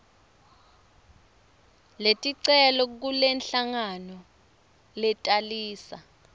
leticelo kulenhlangano letalisa